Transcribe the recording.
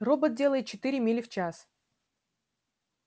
робот делает четыре мили в час